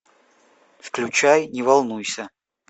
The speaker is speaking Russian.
включай не волнуйся